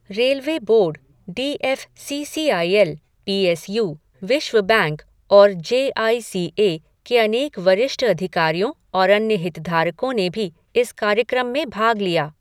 Railway board, D F C C I L, P S U, विश्व bank और J I C A के अनेक वरिष्ठ अधिकारियों और अन्य हितधारकों ने भी इस कार्यक्रम में भाग लिया।